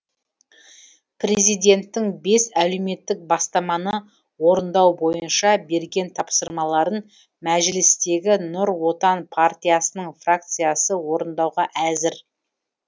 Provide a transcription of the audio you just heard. президенттің бес әлеуметтік бастаманы орындау бойынша берген тапсырмаларын мәжілістегі нұр отан партиясының фракциясы орындауға әзір